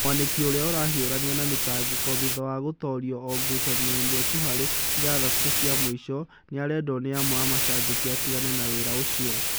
Mwaniki, ũrĩa ũrahiũrania na mĩtangĩko thutha wa gũtoorio o ngucanioĩnĩ ĩmwe tu hari ithathatũ cia mũico, nĩ arendwo nĩ amwe a mashambiki atigane na wĩra ũcio